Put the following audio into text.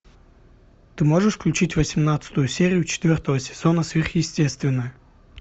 ты можешь включить восемнадцатую серию четвертого сезона сверхъестественное